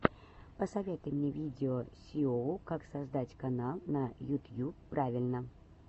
посоветуй мне видео сииоу как создать канал на ютьюб правильно